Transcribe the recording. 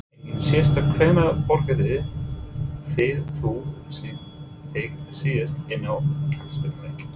Engin sérstök Hvenær borgaðir þú þig síðast inn á knattspyrnuleik?